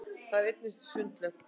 þar er einnig sundlaug